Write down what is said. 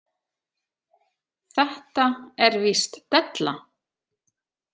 Þetta er víst della.